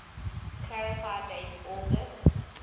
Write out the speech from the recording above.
clarify date august